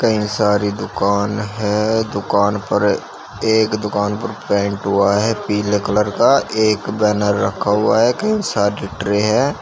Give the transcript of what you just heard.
कई सारी दुकान है। दुकान पर एक दुकान पर पेंट हुआ है पीले कलर का। एक बैनर रखा हुआ है। कई सारी ट्रे हैं।